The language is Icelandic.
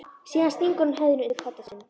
Síðan stingur hún höfðinu undir koddann sinn.